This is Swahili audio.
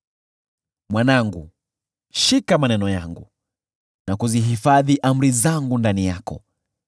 Mwanangu, shika maneno yangu na kuzihifadhi amri zangu ndani yako.